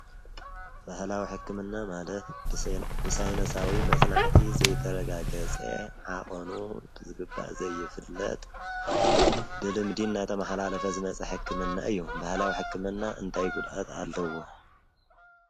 ብሕላዊሕክምና ማለት ብሳይኖሳዊ መጽናዕቲ ዘይተረጋገፀ ዓኦኑ ዝግባእ ዘይፍለጥ ብልምዲን ናተ መሓላለፈ ዝመጽሕክምና እዩ ብህላው ሕክምና እንታይጕድኣት ኣለዉ።